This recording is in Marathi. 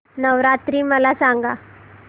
नवरात्री मला सांगा